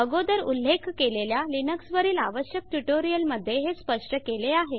अगोदर उल्लेख केलेल्या लिनक्सवरील आवश्यक ट्यूटोरियल मध्ये हे स्पष्ट केले आहे